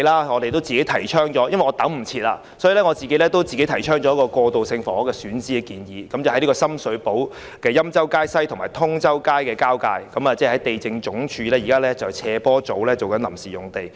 我幾天前與局長會面，已經急不及待自行提出一個過渡性房屋的選址建議，即深水埗欽州街西與通州街交界的地政總署斜坡維修組臨時用地。